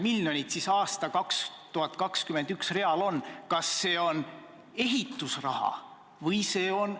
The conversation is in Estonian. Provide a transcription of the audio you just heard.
Minu jaoks on selline kahjurõõm Euroopa majandusmootori võimalike majandusraskuste üle muidugi natukene veider, arvestades seda, kuivõrd on meie enda heaolu seotud Euroopa Liidu majanduse üldise käekäiguga.